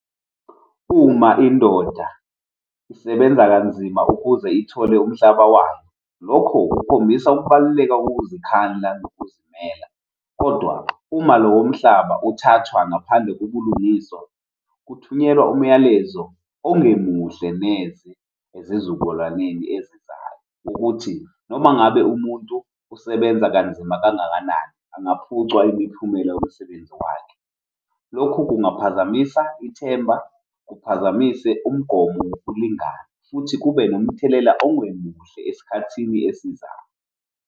Uma indoda isebenza kanzima ukuze ithole umhlaba wayo, lokho kukhombisa ukubaluleka kokuzikhandla nokuzimela, kodwa uma lowo mhlaba uthathwa ngaphandle kobulungiswa kuthunyelwa umyalezo ongemuhle neze ezizukulwaneni ezizayo ukuthi noma ngabe umuntu usebenza kanzima kangakanani angaphucwa imiphumela yomsebenzi wakhe. Lokhu kungaphazamisa ithemba, kuphazamise umgomo wokulingana futhi kube nomthelela ongemuhle esikhathini esizayo.